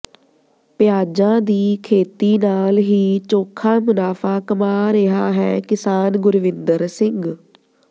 ਪਿਆਜ਼ਾਂ ਦੀ ਖ਼ੇਤੀ ਨਾਲ ਹੀ ਚੋਖ਼ਾ ਮੁਨਾਫ਼ਾ ਕਮਾ ਰਿਹਾ ਹੈ ਕਿਸਾਨ ਗੁਰਵਿੰਦਰ ਸਿੰਘ